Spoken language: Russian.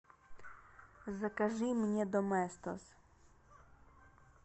закажи мне доместос